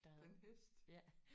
Den hest?